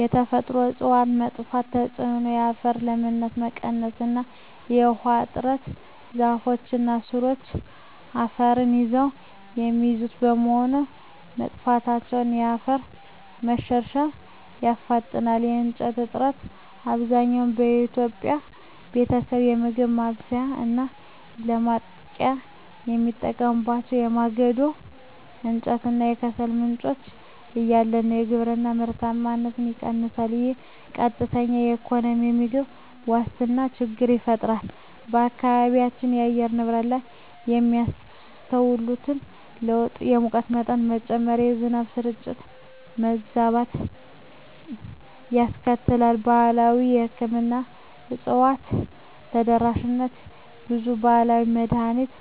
የተፈጥሮ እፅዋት መጥፋት ተጽዕኖ የአፈር ለምነት መቀነስ እና የውሃ እጥረ ዛፎች እና ሥሮቻቸው አፈርን ይዘው የሚይዙት በመሆኑ፣ መጥፋታቸው የአፈር መሸርሸርን ያፋጥነዋል። የእንጨት እጥረት፣ አብዛኛው የኢትዮጵያ ቤተሰብ ለምግብ ማብሰያ እና ለማሞቂያ የሚጠቀምባቸው የማገዶ እንጨት እና ከሰል ምንጮች እያለቁ ነው። የግብርና ምርታማነት ይቀንሳል፣ ይህም ቀጥተኛ የኢኮኖሚና የምግብ ዋስትና ችግር ይፈጥራል። በአካባቢው የአየር ንብረት ላይ የሚያስከትለው ለውጥ የሙቀት መጠን መጨመር፣ የዝናብ ስርጭት መዛባት ያስከትላል። ባህላዊ የሕክምና እፅዋት ተደራሽነት ብዙ ባህላዊ መድኃኒት